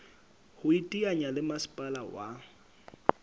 ho iteanya le masepala wa